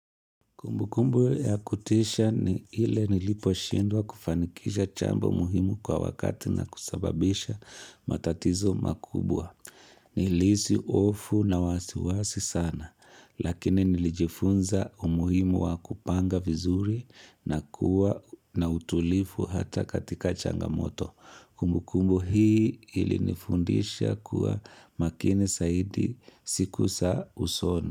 Kumbukumbu ya kutisha ni ile niliposhindwa kufanikisha chamba muhimu kwa wakati na kusababisha matatizo makubwa. Nilihisi hofu na wasiwasi sana, lakini nilijifunza umuhimu wa kupanga vizuri na kuwa na utulivu hata katika changamoto. Kumbu kumbu hii ili nifundisha kuwa makinj zaidi siku za usoni.